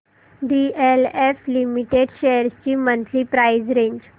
DLF limited shares ची monthly price range